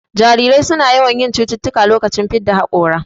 Jarirai suna yawan yin cututtuka lokacin fidda haƙora